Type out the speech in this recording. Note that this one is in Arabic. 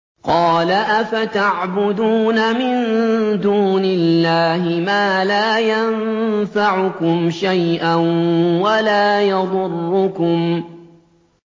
قَالَ أَفَتَعْبُدُونَ مِن دُونِ اللَّهِ مَا لَا يَنفَعُكُمْ شَيْئًا وَلَا يَضُرُّكُمْ